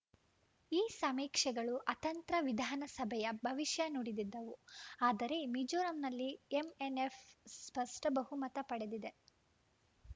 ಈ ಸಮೀಕ್ಷೆಗಳು ಅತಂತ್ರ ವಿಧಾನಸಭೆಯ ಭವಿಷ್ಯ ನುಡಿದಿದ್ದವು ಆದರೆ ಮಿಜೋರಂನಲ್ಲಿ ಎಂಎನ್‌ಎಫ್‌ ಸ್ಪಷ್ಟಬಹುಮತ ಪಡೆದಿದೆ